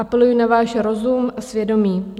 Apeluji na váš rozum a svědomí.